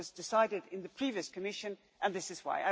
It was decided in the previous Commission and this is why.